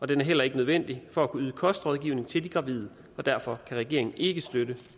det er heller ikke nødvendigt for at kunne yde kostrådgivning til de gravide og derfor kan regeringen ikke støtte